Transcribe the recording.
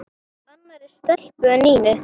Annarri stelpu en Nínu?